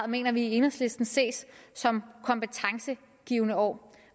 mener vi i enhedslisten ses som kompetencegivende år